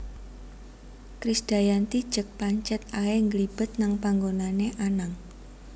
Krisdayanti jek pancet ae ngglibet nang panggonane Anang